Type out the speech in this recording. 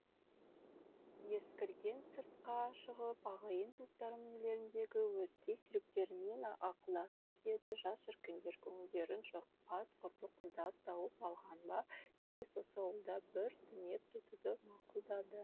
ескірген сыртқа шығып ағайын туыстарының үйлеріндегі өзге серіктерімен ақылдасып еді жас шіркіндер көңілдерін жықпас құрбы құрдас тауып алған ба тегіс осы ауылда бір түнеп кетуді мақұлдады